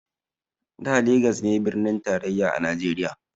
Da legas ne birnin tarayya a najeriya